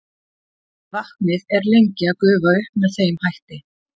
vatnið er lengi að gufa upp með þeim hætti